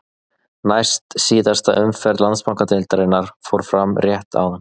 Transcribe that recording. Næst síðasta umferð Landsbankadeildarinnar fór fram rétt áðan.